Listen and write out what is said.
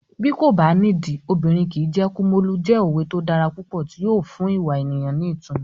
Bí kò bá nídìí, obìnrin kìí jẹ́ Kumolu" jẹ́ òwe tó dára púpọ̀ tí yóò fún ìwà ènìyàn ní ìtumọ̀.